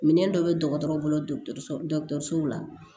Minɛn dɔ bɛ dɔgɔtɔrɔ boloso la